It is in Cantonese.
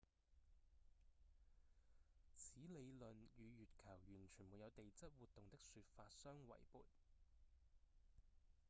此理論與月球完全沒有地質活動的說法相違悖